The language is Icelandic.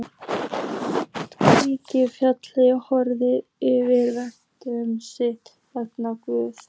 Klífa fjallið, horfa yfir verk sitt, vera Guð.